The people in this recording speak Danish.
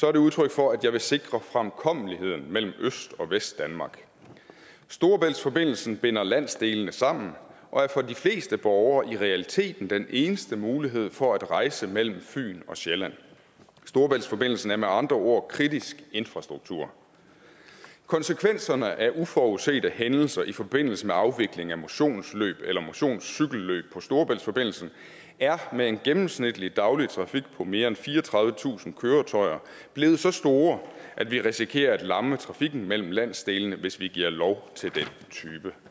er det udtryk for at jeg vil sikre fremkommeligheden mellem øst og vestdanmark storebæltsforbindelsen binder landsdelene sammen og er for de fleste borgere i realiteten den eneste mulighed for at rejse mellem fyn og sjælland storebæltsforbindelsen er med andre ord kritisk infrastruktur konsekvenserne af uforudsete hændelser i forbindelse med afvikling af motionsløb eller motionscykelløb på storebæltsforbindelsen er med en gennemsnitlig daglig trafik på mere end fireogtredivetusind køretøjer blevet så store at vi risikerer at lamme trafikken mellem landsdelene hvis vi giver lov til den type